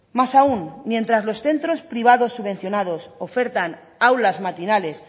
más aún mientras los centros privados subvencionados ofertan aulas matinales